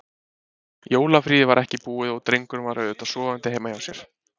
Jólafríið var ekki búið og drengurinn var auðvitað sofandi heima hjá sér.